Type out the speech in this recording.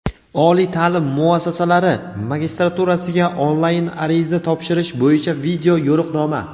Oliy taʼlim muassasalari magistraturasiga onlayn ariza topshirish bo‘yicha video yo‘riqnoma.